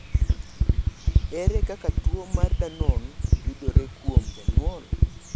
Ere kaka tuo mar Danon yudore kuom jonyuol?